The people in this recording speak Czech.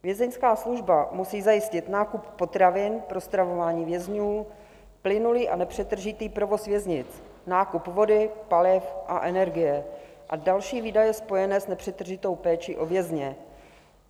Vězeňská služba musí zajistit nákup potravin pro stravování vězňů, plynulý a nepřetržitý provoz věznic, nákup vody, paliv a energie a další výdaje spojené s nepřetržitou péčí o vězně.